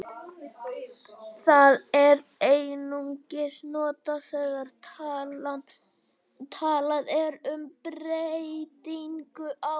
Það er einungis notað þegar talað er um breytingu á prósentu.